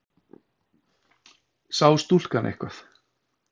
Sá stúlkan eitthvað?